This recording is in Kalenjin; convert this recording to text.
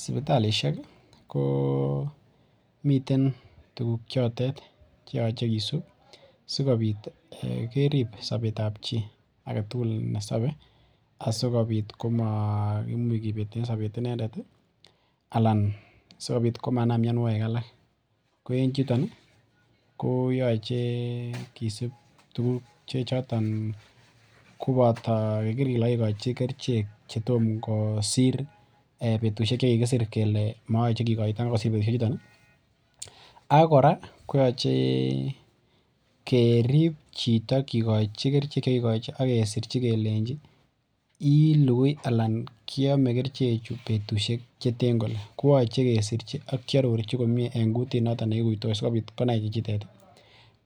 Sibitalishek komiten tuguk chotet cheyoche kisub sikobit kerib sobetab chi. Agetugul nesabe ih ak sikobit komaimuch kobeten sobet inendet. Anan sikobit komanam mianogig alak. Ko en yuton koyoche kisub tuguk chechoton koboto keker kele kakikochi kerichek chetom kosir betusiek chekikisir kele mayoche kokoita kosir betusiek chuton ih akora koyache kerib chito kikochi kerichek che chekikikochi akesirchi kelenchi , ilukui anan kiame kerichechu betusiek cheten kole. Kiache kesichi ak koarorchi komie en kutit noton nekutos sikobit konai chichitet